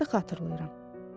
Əlbəttə, xatırlayıram.